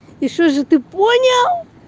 и что же ты понял